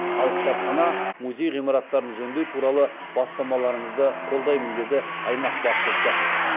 ал кітапхана музей ғимараттарын жөндеу туралы бастамаларыңызды қолдаймын деді аймақ басшысы